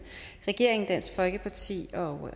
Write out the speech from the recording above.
regeringen dansk folkeparti og